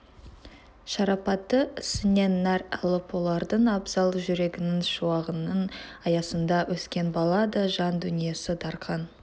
шарапаты ісінен нәр алып олардың абзал жүрегінің шуағының аясында өскен бала да жан дүниесі дарқан